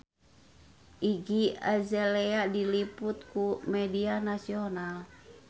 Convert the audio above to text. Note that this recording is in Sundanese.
Iggy Azalea diliput ku media nasional